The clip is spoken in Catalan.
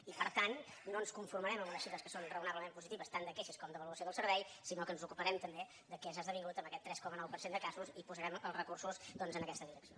i per tant no ens conformarem amb unes xifres que són raonablement positives tant de queixes com d’avaluació del servei sinó que ens ocuparem també de què s’ha esdevingut amb aquest tres coma nou per cent de casos i posarem els recursos en aquesta direcció